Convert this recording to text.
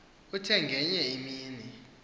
uthe ngenye imini